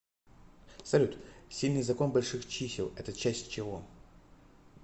салют сильный закон больших чисел это часть чего